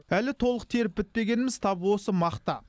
әлі толық теріп бітпегеніміз тап осы мақта